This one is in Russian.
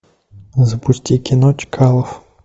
запусти кино чкалов